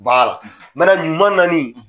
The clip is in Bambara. ɲuman naani